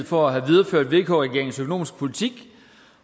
for at have videreført vk regeringens økonomiske politik